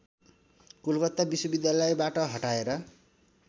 कोलकाता विश्वविद्यालयबाट हटाएर